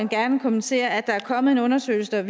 gerne kommentere at der nu er kommet en undersøgelse